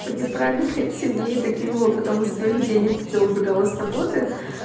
по неправильной цене и докинула потом из своих денег когда убегала с работы